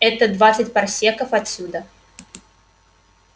это двадцать парсеков отсюда